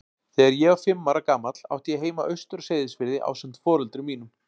Þegar ég var fimm ára gamall átti ég heima austur á Seyðisfirði ásamt foreldrum mínum.